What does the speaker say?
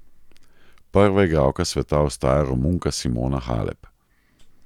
Prva igralka sveta ostaja Romunka Simona Halep.